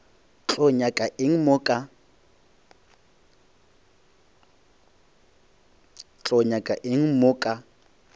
tlo nyaka eng mo ka